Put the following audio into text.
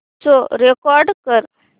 show record कर